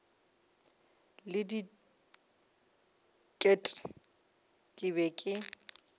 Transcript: le diket ke be ke